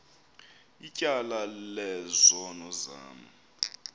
ityala lezono zam